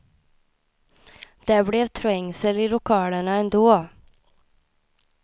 Det blev trängsel i lokalerna ändå.